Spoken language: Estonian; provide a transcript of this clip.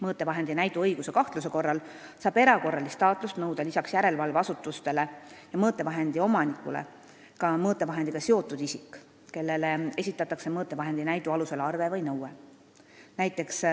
Mõõtevahendi näidu õigsuse kahtluse korral saab erakorralist taatlust nõuda lisaks järelevalveasutustele ja mõõtevahendi omanikule ka mõõtevahendiga seotud isik, kellele esitatakse mõõtevahendi näidu alusel arve või nõue.